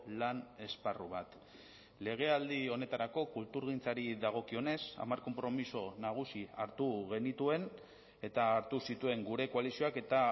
lan esparru bat legealdi honetarako kulturgintzari dagokionez hamar konpromiso nagusi hartu genituen eta hartu zituen gure koalizioak eta